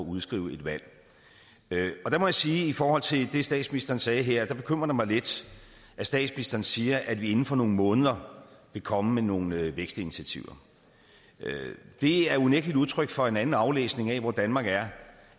udskrive et valg der må jeg sige at i forhold til det statsministeren sagde her bekymrer det mig lidt at statsministeren siger at man inden for nogle måneder vil komme med nogle vækstinitiativer det er unægtelig et udtryk for en anden aflæsning af hvor danmark er